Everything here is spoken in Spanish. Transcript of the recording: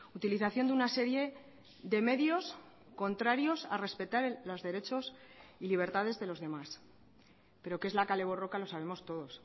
utilización de una serie de medios contrarios a respetar los derechos y libertades de los demás pero qué es la kale borroka lo sabemos todos